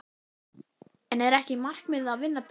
En er ekki markmiðið að vinna bikarinn?